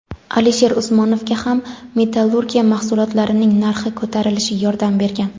Alisher Usmonovga ham metallurgiya mahsulotlarining narxi ko‘tarilishi yordam bergan.